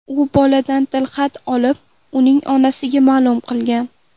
U boladan tilxat olib, uning onasiga ma’lum qilgan.